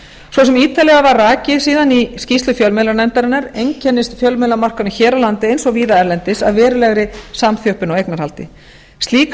svo sem ítarlega er rakið hér að framan einkennist fjölmiðlamarkaðurinn hér á landi eins og víða erlendis af verulegri samþjöppun á eignarhaldi slík